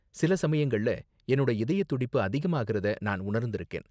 சில சமயங்கள்ல, என்னோட இதயதுடிப்பு அதிகமாகுறத நான் உணர்ந்திருக்கேன்.